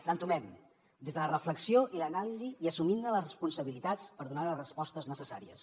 l’entomem des de la reflexió i l’anàlisi i assumint ne les responsabilitats per donar les respostes necessàries